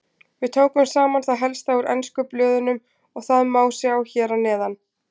Við tókum saman það helsta úr ensku blöðunum og það má sjá hér að neðan.